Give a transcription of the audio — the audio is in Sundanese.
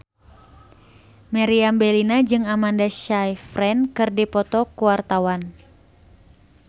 Meriam Bellina jeung Amanda Sayfried keur dipoto ku wartawan